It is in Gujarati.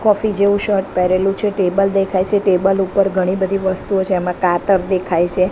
કોફી જેવુ શર્ટ પહેરેલુ છે ટેબલ દેખાય છે ટેબલ ઉપર ઘણી બધી વસ્તુઓ છે એમા કાતર દેખાય છે.